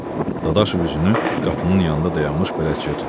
Dadaşov üzünü qapının yanında dayanmış bələdçiyə tutdu.